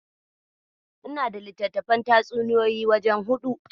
Ina da littattafan tatsuniyoyi wajen huɗu.